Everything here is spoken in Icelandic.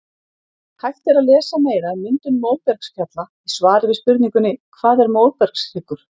Hægt er að lesa meira um myndun móbergsfjalla í svari við spurningunni Hvað er móbergshryggur?